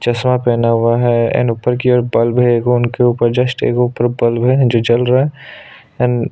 चस्मा पहना हुआ है एंड ऊपर की ओर बल्ब है एक उनके ऊपर जस्ट एक ऊपर बल्ब है जो जल रहा है एंड --